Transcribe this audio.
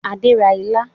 Adé ra ilá